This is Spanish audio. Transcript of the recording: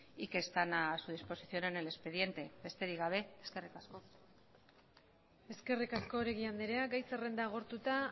y que están a su disposición en el expediente besterik gabe eskerrik asko eskerrik asko oregi andrea gai zerrenda agortuta